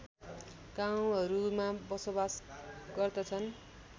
गाउँहरूमा बसोवास गर्दछन्